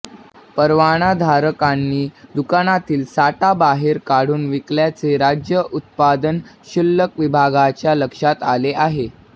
परवानाधारकांनी दुकानातील साठा बाहेर काढून विकल्याचे राज्य उत्पादन शुल्क विभागाच्या लक्षात आले आहे